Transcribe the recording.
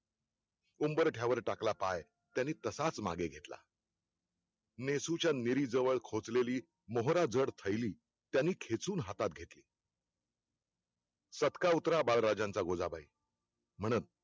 उंबरठ्यावर टाकला पाय, त्यांनी तसाच मागे घेतला नेसूच्या नीरीजवळ खोचलेली मोहराजड थैली, त्यांनी खेचून हातात घेतली सबका उतरा बाळराजांचा गोझाबाई म्ह्तण